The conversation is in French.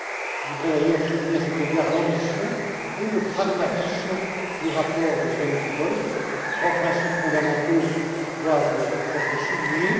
Je voudrais d'ailleurs souligner, à cet égard, l'ambition et le pragmatisme du rapport de Sven Giegold. Trois principes fondamentaux doivent être soulignés.